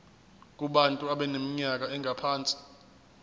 kubantu abaneminyaka engaphansi